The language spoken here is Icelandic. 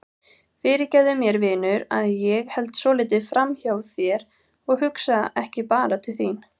Fyrirgefðu mér vinur að ég held svolítið framhjá þér og hugsa ekki bara til þín.